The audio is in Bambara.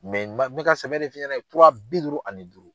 n ba, bi ka sɛbɛ de f'i ɲɛna tura bi duuru ani duuru.